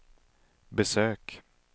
besök